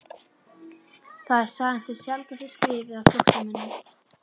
Það er sagan sem sjaldnast er skrifuð af flóttamönnum